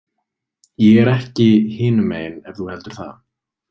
Ég er ekki hinumegin ef þú heldur það.